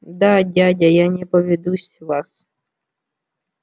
да дядя я не поведусь вас